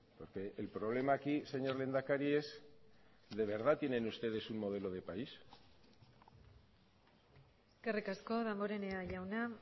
porque el problema aquí señor lehendakari es de verdad tienen ustedes un modelo de país eskerrik asko damborenea jauna